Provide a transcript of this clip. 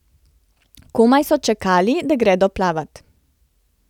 Komaj so čakali, da gredo plavat.